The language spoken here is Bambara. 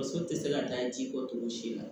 Muso tɛ se ka taa ji kɔ togo si la